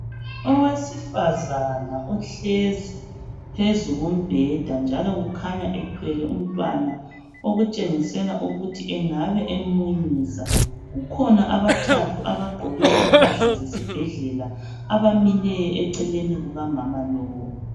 Owesifazana uhlezi phezu kombheda njalo kukhanya ethwele umtwana okutshengisela ukuba engabe emunyisa. Kukhona abathathu abagqoke impahla zesibhedlela abamileyo eceleni kuka mama lowu.